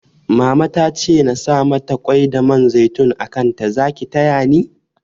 Mama tace nasa mata kwai da man zaitun a kanta Zaki tayani?